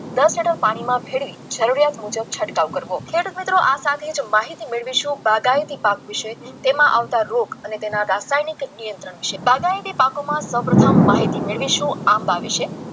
દસ લીટર પાણીમાં ભેળવી જરૂરિયાત મુજબ છંટકાવ કરવો તો આ મિત્રો સાથે માહિતી મેળવીશું વિશે તેમાં તેમાં આવતા રોગ ના રાસાયણિક નિયંત્રણ વિશે પાકમાં સૌપ્રથમ મેળવીશું આંબા વિશે